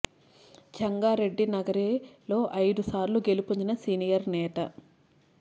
చెంగా రెడ్డి నగరి లో అయిదు సార్లు గెలుపొందిన సీనియర్ నేత